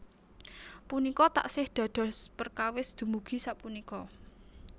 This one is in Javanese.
Punika taksih dados perkawis dumugi sapunika